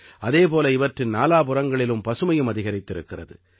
அதே போல இவற்றின் நாலாபுறங்களிலும் பசுமையும் அதிகரித்திருக்கிறது